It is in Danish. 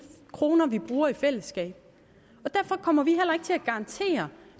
kroner vi bruger i fællesskab og derfor kommer vi at garantere